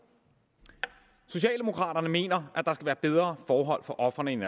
socialdemokraterne mener at der skal være bedre forhold for ofrene end